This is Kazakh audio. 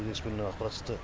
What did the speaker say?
кезекші бөлімнен ақпарат түсті